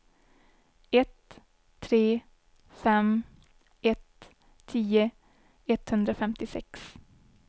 ett tre fem ett tio etthundrafemtiosex